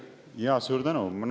Suur tänu!